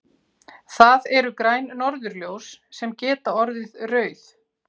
Það eru græn norðurljós sem geta orðið rauð.